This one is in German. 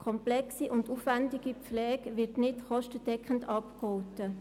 Komplexe und aufwendige Pflege wird nicht kostendeckend abgegolten.